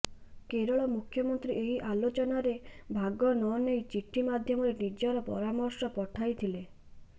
କେରଳ ମୁଖ୍ୟମନ୍ତ୍ରୀ ଏହି ଆଲୋଚନାରେ ଭାଗ ନନେଇ ଚିଠି ମାଧ୍ୟମରେ ନିଜର ପରାମର୍ଶ ପଠାଇଥିଲେ